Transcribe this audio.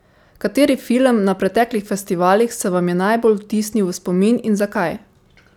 Kateri film na preteklih festivalih se vam je najbolj vtisnil v spomin in zakaj?